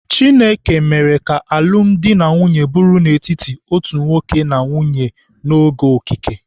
Chineke mere ka alụmdi na nwunye bụrụ n'etiti otu nwoke na nwaanyị n'oge okike.